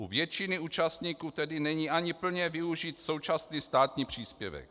U většiny účastníků tedy ani není plně využit současný státní příspěvek.